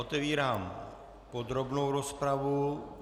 Otevírám podrobnou rozpravu.